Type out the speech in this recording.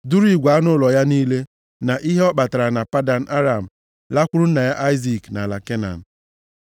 duru igwe anụ ụlọ ya niile, na ihe ọ kpatara na Padan Aram, lakwuru nna ya Aịzik nʼala Kenan.